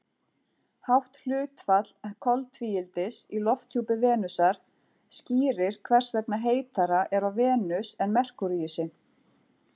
Hátt hlutfall koltvíildis í lofthjúpi Venusar skýrir hvers vegna heitara er á Venus en Merkúríusi.